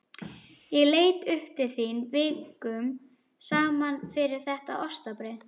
Ég leit upp til þín vikum saman fyrir þetta ostabrauð.